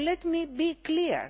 So let me be clear.